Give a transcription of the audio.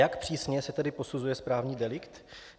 Jak přísně se tedy posuzuje správní delikt?